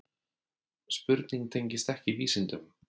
Spurning tengist ekki vísindum.